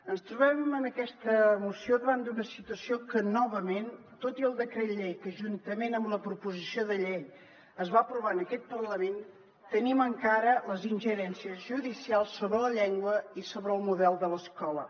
ens trobem en aquesta moció davant d’una situació en què novament tot i el decret llei que juntament amb la proposició de llei es va aprovar en aquest parlament tenim encara les ingerències judicials sobre la llengua i sobre el model de l’escola